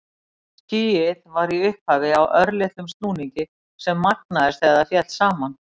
Skýið var í upphafi á örlitlum snúningi sem magnaðist þegar það féll saman.